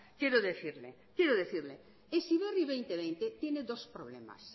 quiero decirle heziberri dos mil veinte tiene dos problemas